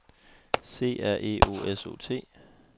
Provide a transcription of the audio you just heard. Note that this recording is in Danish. C R E O S O T